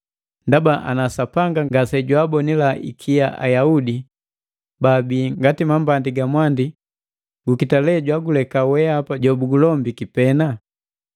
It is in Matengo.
Ndaba ana Sapanga ngase jwaabonila ikia Ayaudi baabii ngati mambandi ga mwandi, gukita lee jwaguleka weapa jo bugulombiki pena?